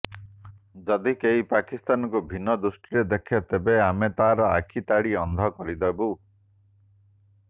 ଯଦି କେହି ପାକିସ୍ତାନକୁ ଭିନ୍ନ ଦୃଷ୍ଟିରେ ଦେଖେ ତେବେ ଆମେ ତାର ଆଖି ତାଡ଼ି ଅନ୍ଧ କରିଦେବୁ